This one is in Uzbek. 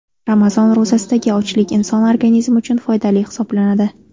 Ramazon ro‘zasidagi ochlik inson organizmi uchun foydali hisoblanadi.